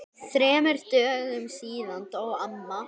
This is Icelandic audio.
Þremur dögum síðar dó amma.